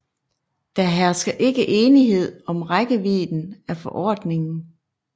Der hersker ikke enighed om rækkevidden af forordningen